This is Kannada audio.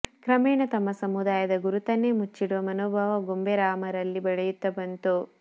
ಕ್ರಮೇಣ ತಮ್ಮ ಸಮುದಾಯದ ಗುರುತನ್ನೇ ಮುಚ್ಚಿಡುವ ಮನೋಭಾವ ಗೊಂಬೆರಾಮರಲ್ಲಿ ಬೆಳೆಯುತ್ತಾ ಬಂತು